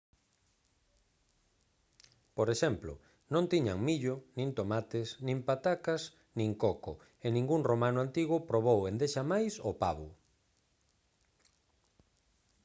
por exemplo non tiñan millo nin tomates nin patacas nin coco e ningún romano antigo probou endexamais o pavo